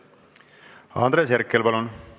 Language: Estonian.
Andres Herkel, palun!